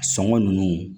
Sɔngɔ nunnu